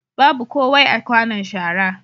Babu kowai a kwanon shara.